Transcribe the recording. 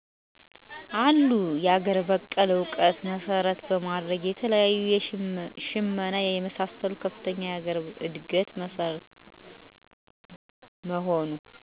አሉ የአገር በቀል እዉቀት መሰረት በማድረግ የተለያዬ ሽመና የመሳሰሉ ከፍተኛ የአገር እድገት መሰረት መሆኑ።